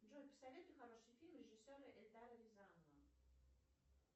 джой посоветуй хороший фильм режиссера эльдара рязанова